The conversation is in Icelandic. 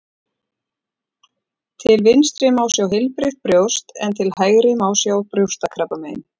Til vinstri má sjá heilbrigt brjóst en til hægri má sjá brjóstakrabbamein.